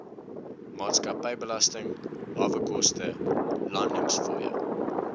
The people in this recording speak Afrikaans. maatskappybelasting hawekoste landingsfooie